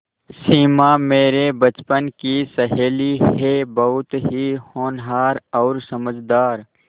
सिमा मेरे बचपन की सहेली है बहुत ही होनहार और समझदार